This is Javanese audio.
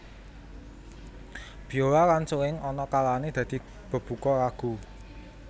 Biola lan suling ana kalané dadi bebuka lagu